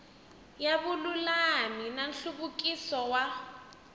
ya vululami na nhluvukiso wa